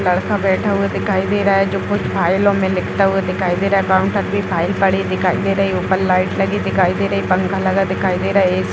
लड़का बैठा हुआ दिखाई दे रहा है जो कुछ फाइलों मे लिखता हुआ दिखाई दे रहा है | काउंटर पे फाइल पड़ी दिखाई दे रही है ऊपर लाइट लगी दिखाई दे रही पंखा लगा दिखाई दे रहा है | ए.सी. --